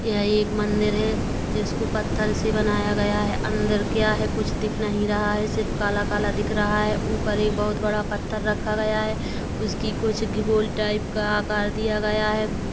यह एक मंदिर हैं जिसको पत्थर से बनाया गया हैं अंदर क्या हैं कुछ दिख नहीं रहा हैं सिर्फ काला काला दिख रहा हैं ऊपर एक बहुत बड़ा पत्थर रखा गया हैं उसकी कुछ गी गोल टाइप का आकार दिया गया हैं।